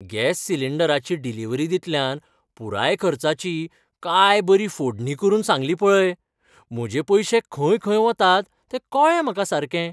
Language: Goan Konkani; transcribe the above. गॅस सिलींडराची डिलिव्हरी दितल्यान पुराय खर्चाची काय बरी फोडणी करून सांगली पळय. म्हजे पयशे खंय खंय वतात तें कळ्ळें म्हाका सारकें.